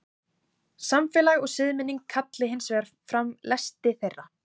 samfélag og siðmenning kalli hins vegar fram lesti þeirra